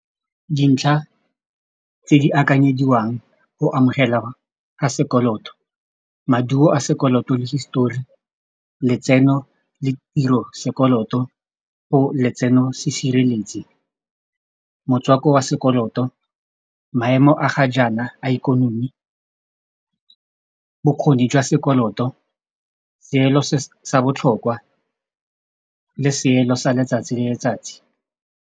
Dintlha tse di akanyediwang go amogela ka sekoloto maduo a sekoloto le hisetori, letseno le tiro sekoloto go letseno se sireletse motswako wa sekoloto, maemo a ga jaana a ikonomi, bokgoni jwa sekoloto seelo sa botlhokwa le seelo sa letsatsi le letsatsi.